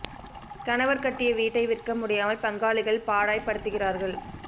கணவர் கட்டிய வீட்டை விற்க முடியாமல் பங்காளிகள் பாடாய் படுத்துகிறார்கள்